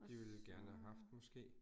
De ville gerne have haft måske